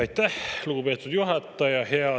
Aitäh, lugupeetud juhataja!